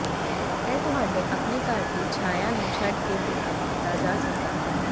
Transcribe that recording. ਇਹ ਤੁਹਾਡੇ ਆਪਣੇ ਘਰ ਦੀ ਛਾਇਆ ਨੂੰ ਛੱਡ ਕੇ ਬਿਨਾ ਕੀਤਾ ਜਾ ਸਕਦਾ ਹੈ